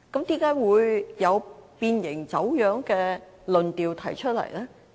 為何會有變形、走樣的論調提出來呢？